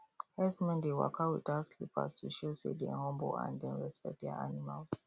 herdsmen dey waka without slippers to show say dem humble and dem respect their animals